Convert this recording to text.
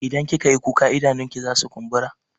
Idan kika yi kuka idanunki zasu kumbura.